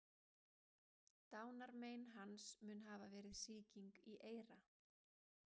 Dánarmein hans mun hafa verið sýking í eyra.